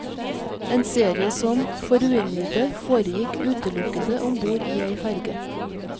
En serie som, for uinnvidde, foregikk utelukkende ombord i ei ferge.